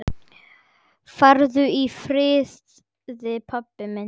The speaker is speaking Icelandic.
Farðu í friði, pabbi minn.